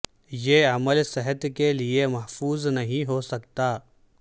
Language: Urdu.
یہ عمل صحت کے لیے محفوظ نہیں ہو سکتا